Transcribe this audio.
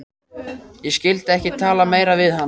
Ég skyldi ekki tala meira við hann.